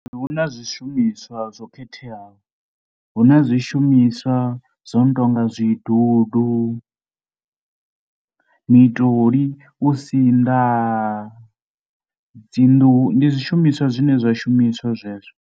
Hu na zwishumiswa zwo khetheaho. hu na zwishumiswa zwo no tou nga zwidundu mitoli, u sinḓa dzi nḓuhu. Ndi zwishumiswa zwine zwa shumiswa zwezwo.